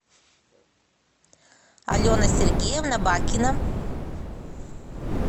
алена сергеевна бакина